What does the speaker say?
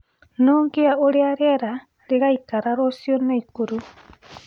no ngĩe uria rĩera rĩgaĩkara ruciu naikuru